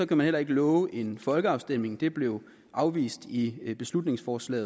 kan man heller ikke love en folkeafstemning det blev afvist i det beslutningsforslag